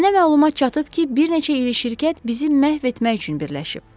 Mənə məlumat çatıb ki, bir neçə iri şirkət bizi məhv etmək üçün birləşib.